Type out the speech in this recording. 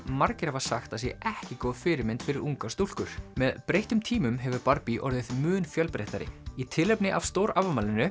margir hafa sagt að sé ekki góð fyrirmynd fyrir ungar stúlkur með breyttum tímum hefur orðið mun fjölbreyttari í tilefni af stórafmælinu